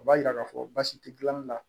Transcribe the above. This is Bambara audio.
O b'a yira k'a fɔ baasi tɛ gilanli la